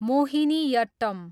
Mohiniyattam